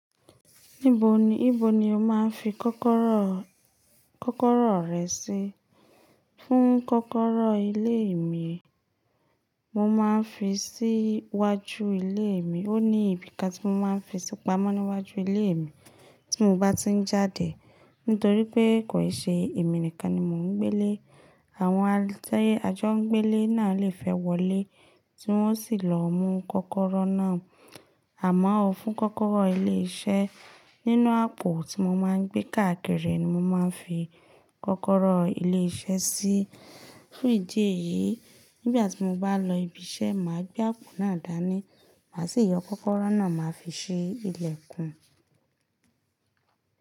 Níbo ni, níbo ni o máa ń fi kọ́kọ́rọ́, kọ́kọ́rọ́ rẹ sí? Fún kọ́kọ́rọ́ ilé mi, mo máa ń fi sí iwájú ilé mi. Ó ní ibi kan tí mo máa ń fi sí pamọ́ níwájú ilé mi tí mo bá ti ń jáde. Nítorí pé kòì ṣe èmi nìkan ni mò ń gbé lé, àwọn a ti ajọ́ńgbele náà lè fẹ́ wọlé tí wọ́n sì lọ mú kọ́kọ́rọ́ náà. Àmọ́ ọ fún kọ́kọ́rọ́ ilé iṣẹ́, nínú àpò tí mo máa ń gbé káàkiri ni mo máa ń fi kọ́kọ́rọ́ ilé iṣẹ́ sí. Fún ìdí èyí, nígbà tí mo bá lọ ibi iṣẹ́, màá gbé àpò náà dání. Màá sì yọ kọ́kọ́rọ́ náà máa fi ṣe ìlẹ̀kùn.